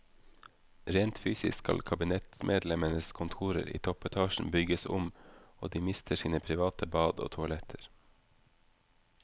Rent fysisk skal kabinettsmedlemmenes kontorer i toppetasjen bygges om, og de mister sine private bad og toaletter.